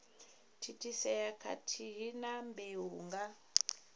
thithisea khathihi na mbeu nga